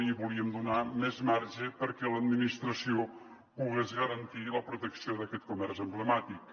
i volíem donar més marge perquè l’administració pogués garantir la protecció d’aquest comerç emblemàtic